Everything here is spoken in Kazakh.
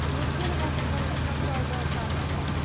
өткен ғасырдың сакралды картасы